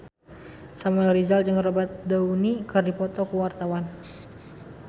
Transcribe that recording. Samuel Rizal jeung Robert Downey keur dipoto ku wartawan